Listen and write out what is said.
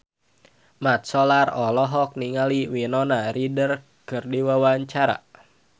Mat Solar olohok ningali Winona Ryder keur diwawancara